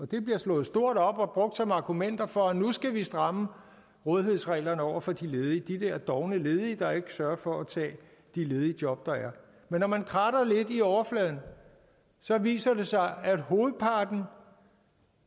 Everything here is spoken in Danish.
det bliver stået stort op og brugt som argument for at nu skal vi stramme rådighedsreglerne over for de ledige de der dovne ledige der ikke sørger for at tage de ledige job der er men når man kratter lidt i overfladen viser det sig at hovedparten